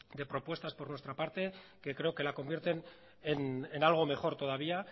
de propuestas por nuestra parte que creo que la convierten en algo mejor todavía